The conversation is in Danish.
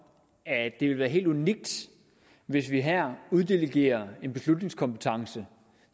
at det ville være helt unikt hvis vi her uddelegerer en beslutningskompetence